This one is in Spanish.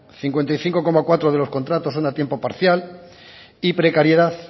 cincuenta y cinco coma cuatro de los contratos son a tiempo parcial y precariedad